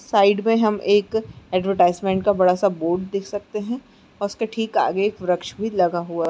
side में हम एक एडवरटाइजमेन्ट का बड़ा-सा बोर्ड देख सकते हैं और उसके ठीक आगे एक व्रक्ष भी लगा हुआ --